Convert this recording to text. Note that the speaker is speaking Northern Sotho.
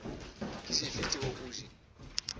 ke dife tšeo o di